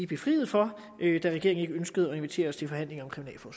befriet for da regeringen ikke ønskede at invitere os til forhandlinger